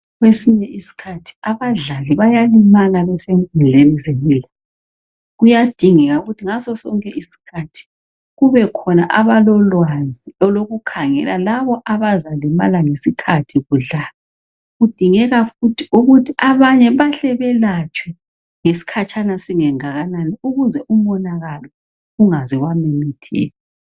kwesinye isikhathi abadlali bayalimala besenkundleni zemidlalo kuyadingeka ukuthi ngaso sonke iskhathi kubekhona abalolwazi ukukhangela labo abazalimala ngesikhathi kudlalwa kudingeka ukuthi abanye belatshwe ngesikhatshana singengakanani ukuze umonakalo ungaze wamomotheka